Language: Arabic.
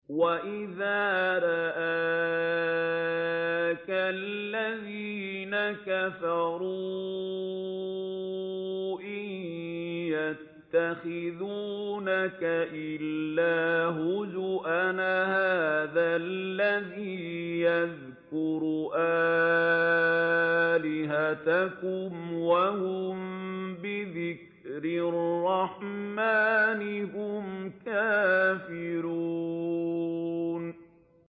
وَإِذَا رَآكَ الَّذِينَ كَفَرُوا إِن يَتَّخِذُونَكَ إِلَّا هُزُوًا أَهَٰذَا الَّذِي يَذْكُرُ آلِهَتَكُمْ وَهُم بِذِكْرِ الرَّحْمَٰنِ هُمْ كَافِرُونَ